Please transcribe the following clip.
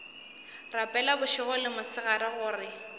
rapela bošego le mosegare gore